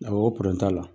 Awɔ o t'a la